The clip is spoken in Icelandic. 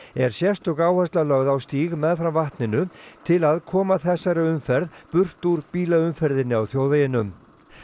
er sérstök áhersla lögð á stíg meðfram vatninu til að koma þessari umferð burt úr bílaumferðinni á þjóðveginum